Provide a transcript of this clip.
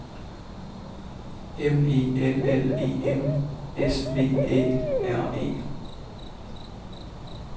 M E L L E M S V Æ R E